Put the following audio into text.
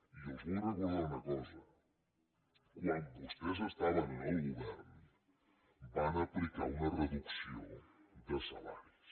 i els vull recordar una cosa quan vostès estaven en el govern van aplicar una reducció de salaris